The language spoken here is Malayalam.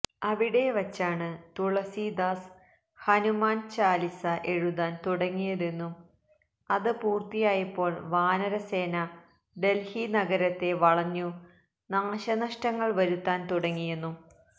അവിടെവച്ചാണ് തുളസീദാസ് ഹനുമാന് ചാലിസ എഴുതാന് തുടങ്ങിയതെന്നും അത് പൂര്ത്തിയായപ്പോള് വാനരസേന ഡല്ഹി നഗരത്തെ വളഞ്ഞു നാശനഷ്ടങ്ങള് വരുത്താന് തുടങ്ങിയെന്നും